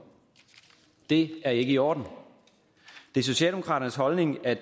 det er ikke i orden det er socialdemokraternes holdning at